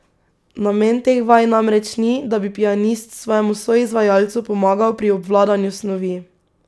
Namen teh vaj namreč ni, da bi pianist svojemu soizvajalcu pomagal pri obvladanju snovi.